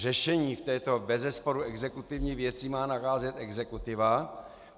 Řešení v této bezesporu exekutivní věci má nacházet exekutiva.